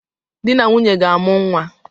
Dị na nwunye ga-amụ nnwa